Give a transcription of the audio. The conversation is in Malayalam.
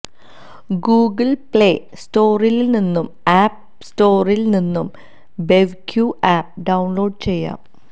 ഗൂഗിള് പ്ളേ സ്റ്റോറില്നിന്നും ആപ്പ് സ്റ്റോറില് നിന്നും ബെവ്ക്യൂ ആപ്പ് ഡൌണ്ലോഡ് ചെയ്യാം